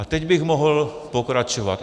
A teď bych mohl pokračovat.